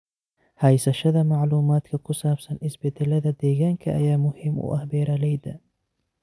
Haysashada macluumaadka ku saabsan isbeddelada deegaanka ayaa muhiim u ah beeralayda.